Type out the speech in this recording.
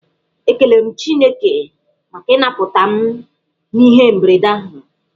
Ekelere m Chineke maka ịnaputa m n'ihe mberede ahụ.